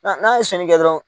n'a ye sɛnni kɛ dɔrɔn